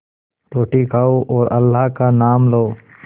रोटी खाओ और अल्लाह का नाम लो